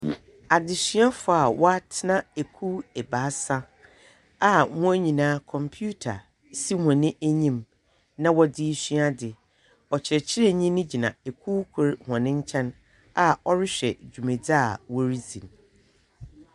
Adzesuafo a wɔatena ekuw ebaasa, a hɔn nyinaa, computer si hɔn enyim na wɔdze resua adze. Ɔkyerɛkyerɛnyi no gyina kuw kor hɔn nkyɛn a ɔrehwɛ dwumadzi a wɔreyɛ.